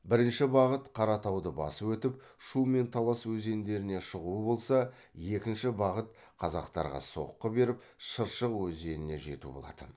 бірінші бағыт қаратауды басып өтіп шу мен талас өзендеріне шығу болса екінші бағыт қазақтарға соққы беріп шыршық өзеніне жету болатын